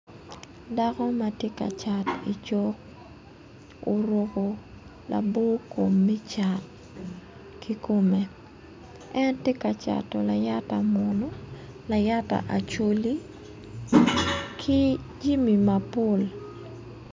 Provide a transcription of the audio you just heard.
Dako ma ti ka cat icuk oruku labo kom me cat kikome en ti ka cato layata munu layata acholi ki jimi mapol